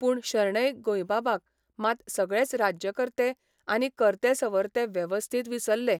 पूण शणैं गोंयबाबाक मात सगळेच राज्यकर्ते आनी कर्तेसवरते वेवस्थीत विसल्ले.